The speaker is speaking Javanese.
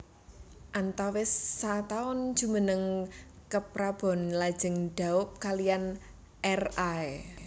Antawis sataun jumeneng keprabon lajeng daup kaliyan R Ay